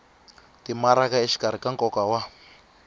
timaraka exikarhi ka nkoka wa